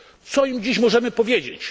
Co im dziś możemy powiedzieć?